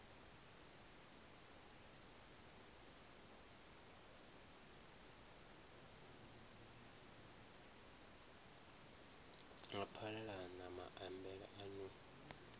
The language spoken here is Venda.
a phalalana maambele a no